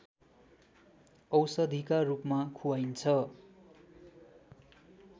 औषधिका रूपमा खुवाइन्छ